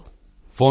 phone call ਸਮਾਪਤ